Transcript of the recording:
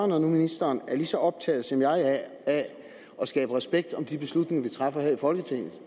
når nu ministeren er lige så optaget som jeg er af at skabe respekt om de beslutninger vi træffer her i folketinget